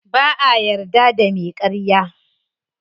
Ba'a yarda da me karya.